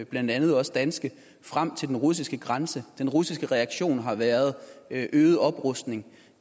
blandt andet også danske frem til den russiske grænse den russiske reaktion har været øget oprustning